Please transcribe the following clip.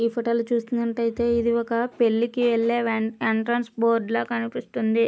ఈ ఫోటో లో చూసినట్టైతే ఇది ఒక పెళ్లి కి వెళ్లే ఎంట్రెన్స్ బోర్డు ల కనిపిస్తుంది.